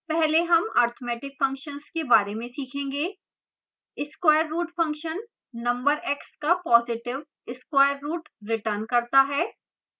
पहले हम arithmetic functions के बारे में सीखेंगे